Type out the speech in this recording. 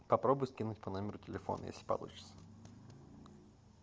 попробуй скинуть по номеру телефона если получится